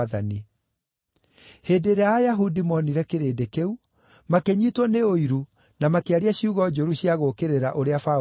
Hĩndĩ ĩrĩa Ayahudi moonire kĩrĩndĩ kĩu, makĩnyiitwo nĩ ũiru na makĩaria ciugo njũru cia gũũkĩrĩra ũrĩa Paũlũ oigaga.